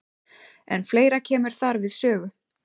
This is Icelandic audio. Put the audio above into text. En fleira kemur þar við sögu.